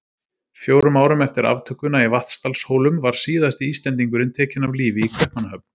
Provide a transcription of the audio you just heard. Fjórum árum eftir aftökuna í Vatnsdalshólum var síðasti Íslendingurinn tekinn af lífi í Kaupmannahöfn.